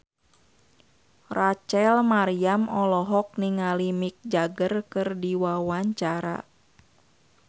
Rachel Maryam olohok ningali Mick Jagger keur diwawancara